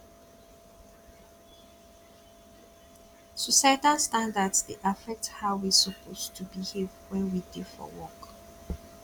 societal standards dey affect how we suppose to behave when we dey for work